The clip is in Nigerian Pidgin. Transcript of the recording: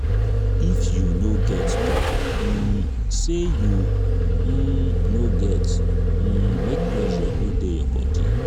if you no get talk um say you um no get um make pressure no de your body